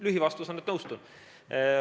Lühivastus on, et nõustun.